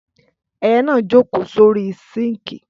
Ẹyẹ na jókò sorí sinki.